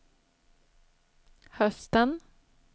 hösten